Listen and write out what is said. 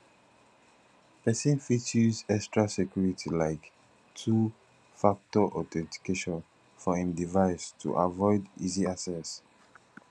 person fit use extra security like 2 factor authentication for im device to avoid easy access